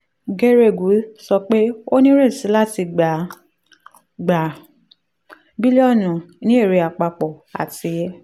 geregu sọ pé o nírètí láti gbà á gbà á bílíọ̀nù ní èrè àpapọ̀ àti